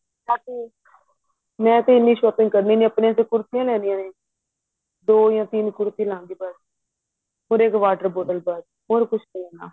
ਤਾਕਿ ਮੈਂ ਤੇ ਇਹਨੀਂ shopping ਕਰਨੀ ਨੀ ਆਪਣੀ ਤੇ ਕੁਰਸੀਆਂ ਹੀ ਲੈਣੀ ਏ ਦੋ ਜਾ ਤਿੰਨ ਕੁਰਸੀਆਂ ਲਾਂਗੀ ਬਸ or ਇੱਕ water bottle ਬਸ ਹੋਰ ਕੁੱਛ ਨਹੀਂ ਲੈਣਾ